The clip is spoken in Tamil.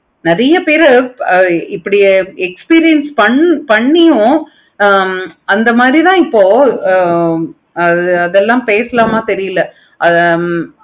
நெறைய பேரு இப்படியே experience பண்ணி பண்ணியும் அந்த மாதிரி தான் ஆஹ் அதெல்லாம் தெரியல அதான் பேசலாமா